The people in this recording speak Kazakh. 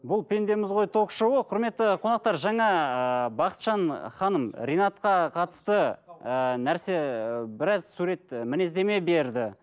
бұл пендеміз ғой ток шоуы құрметті қонақтар жаңа ыыы бақытжан ханым ринатқа қатысты ыыы нәрсе ы біраз сурет і мінездеме берді